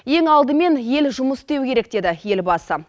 ең алдымен ел жұмыс істеуі керек деді елбасы